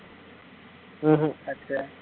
உம் ஹம்